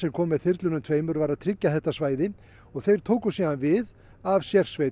komu með þyrlunum tveimur var að tryggja þetta svæði og þeir tóku síðan við af sérsveit